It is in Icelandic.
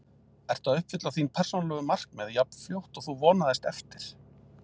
Ertu að uppfylla þín persónulegu markmið jafn fljótt og þú vonaðist eftir?